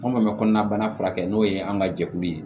Fɛn o fɛn bɛ kɔnɔnabana furakɛ n'o ye an ka jɛkulu ye